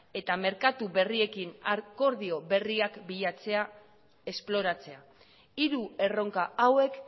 eta merkatu berriekin akordio berriak bilatzea esploratzea hiru erronka hauek